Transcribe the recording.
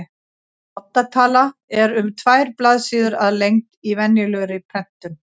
Odda tala er um tvær blaðsíður að lengd í venjulegri prentun.